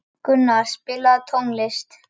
Gunnur, spilaðu tónlist.